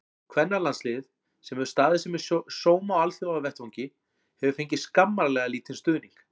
Kvennalandsliðið, sem hefur staðið sig með sóma á alþjóðavettvangi, hefur fengið skammarlega lítinn stuðning.